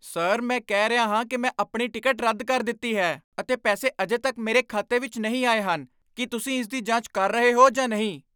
Sir! ਮੈਂ ਕਹਿ ਰਿਹਾ ਹਾਂ ਕਿ ਮੈਂ ਆਪਣੀ ਟਿਕਟ ਰੱਦ ਕਰ ਦਿੱਤੀ ਹੈ ਅਤੇ ਪੈਸੇ ਅਜੇ ਤੱਕ ਮੇਰੇ ਖਾਤੇ ਵਿੱਚ ਨਹੀਂ ਆਏ ਹਨ। ਕੀ ਤੁਸੀਂ ਇਸ ਦੀ ਜਾਂਚ ਕਰ ਰਹੇ ਹੋ ਜਾਂ ਨਹੀਂ?